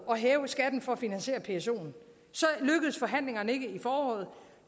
at hæve skatten for at finansiere psoen så lykkedes forhandlingerne ikke i foråret